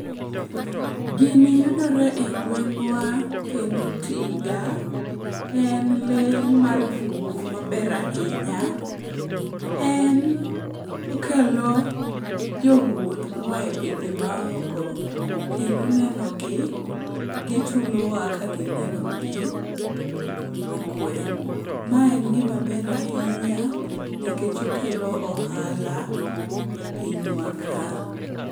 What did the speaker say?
Gini yudore e gweng'wa ,kendo tiga en lee mar bungu maber ahinya. En okelo jowuoth moa e pinje maoko kendo nenogi, gichulowa kagineno gi,e gweng'. Ma en gimaber ahinya nikech okelo ohala e pinywa ka.